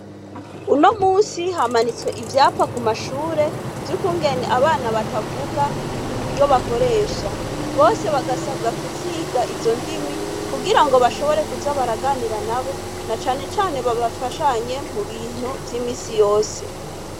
Uno munsi, hamanitswe ivyapa ku mashure, vy'ukungene abana batavuga uburyo bakoresha. Bose bagasabwa kuziga izo ndimi, kugira ngo bashobore kuza baraganira nabo, nacane cane bafashanye mubintu vy'imisi yose.